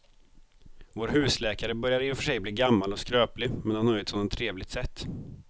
Vår husläkare börjar i och för sig bli gammal och skröplig, men han har ju ett sådant trevligt sätt!